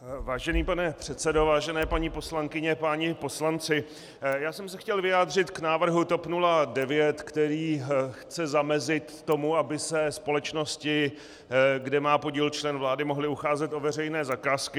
Vážený pane předsedo, vážené paní poslankyně, páni poslanci, já jsem se chtěl vyjádřit k návrhu TOP 09, který chce zamezit tomu, aby se společnosti, kde má podíl člen vlády, mohly ucházet o veřejné zakázky.